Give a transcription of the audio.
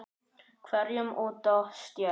hverjum út á stétt.